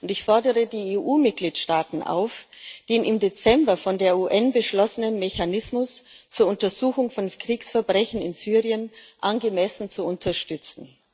Ich fordere die EU Mitgliedstaaten auf, den im Dezember von der UN beschlossenen Mechanismus zur Untersuchung von Kriegsverbrechen in Syrien angemessen zu unterstützen.